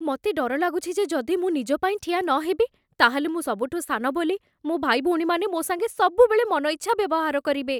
ମତେ ଡର ଲାଗୁଛି ଯେ ଯଦି ମୁଁ ନିଜ ପାଇଁ ଠିଆ ନହେବି, ତା'ହେଲେ ମୁଁ ସବୁଠୁ ସାନ ବୋଲି ମୋ' ଭାଇଭଉଣୀମାନେ ମୋ' ସାଙ୍ଗେ ସବୁବେଳେ ମନ ଇଚ୍ଛା ବ୍ୟବହାର କରିବେ ।